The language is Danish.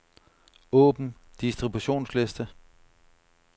Åbn distributionsliste.